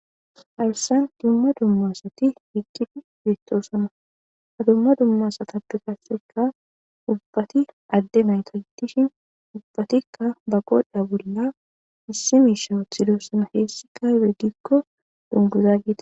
Haysan dumma dumma asati eqqidi bettosona Ha dumma dumma asatape qaseka ubbati adde nayta giddishin ubbatikka ba godha bolla issi misha wothidosana. Heessika aybe giikko dunguza geetetees.